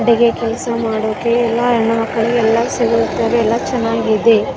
ಬೇರೆ ಕೆಲಸ ಮಾಡೋಕೆ ಎಲ್ಲ ಹೆಣ್ಣುಮಕ್ಕಳಿಗೆ ಎಲ್ಲ ಸಿಗುತ್ತದೆ ಎಲ್ಲ ಚೆನ್ನಾಗಿದೆ .